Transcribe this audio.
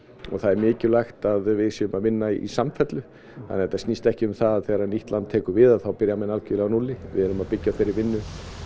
og það er mikilvægt að við séum að vinna í samfellu þannig að þetta snýst ekki um það að þegar nýtt land tekur við að þá byrji menn algerlega á núlli við erum að byggja á þeirri vinnu